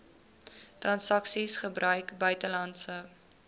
transaksies gebruik buitelandse